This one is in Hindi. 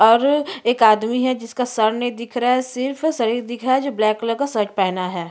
और एक आदमी है जिसका सर नहीं दिख रहा है सिर्फ शरीर दिख रहा है जिसने ब्लैक कलर का शर्ट पहना हैं।